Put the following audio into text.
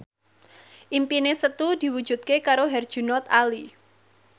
impine Setu diwujudke karo Herjunot Ali